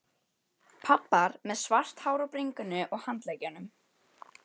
Pabbar með svart hár á bringunni og handleggjunum.